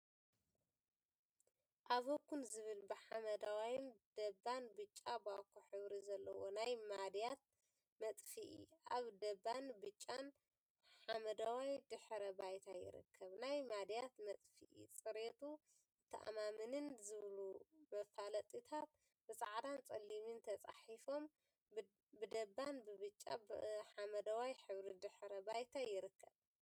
አቮዂን ዝብል ብሓመደዋይን ደባን ብጫ ባኮ ሕብሪን ዘለዎ ናይ ማድያት መጥፍኢ አብ ደባን ብጫን ሓመደዋይ ድሕረ ባይታ ይርከብ፡፡ ናይ ማድያት መጥፍኢ፣ ፅሬቱ ዘተአማምን ዝብሉ መፋለጢታት ብፃዕዳን ፀሊምን ተፃሒፎም ብደባን ብጫን ሓመደዋይን ሕብሪ ድሕረ ባይታ ይርከብ፡፡